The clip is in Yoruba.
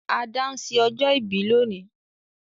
Ada n se ọjọ́ ìbí lónìí